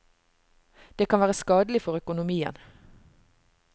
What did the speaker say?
Det kan være skadelig for økonomien.